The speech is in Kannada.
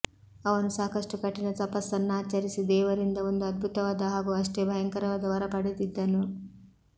ಅವನು ಸಾಕಷ್ಟು ಕಠಿಣ ತಪಸ್ಸನ್ನಾಚರಿಸಿ ದೇವರಿಂದ ಒಂದು ಅದ್ಭುತವಾದ ಹಾಗೂ ಅಷ್ಟೆ ಭಯಂಕರವಾದ ವರ ಪಡೆದಿದ್ದನು